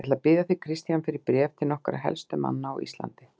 Ég ætla að biðja þig, Christian, fyrir bréf til nokkurra helstu manna á Íslandi.